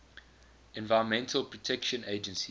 environmental protection agency